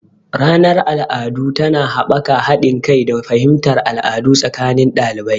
Ranar al'adu tana haɓaka haɗin kai da fahimtar al'adu tsakanin ɗalibai.